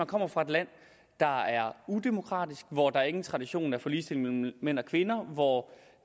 kommer fra et land der er udemokratisk hvor der ingen tradition er for ligestilling mellem mænd og kvinder og hvor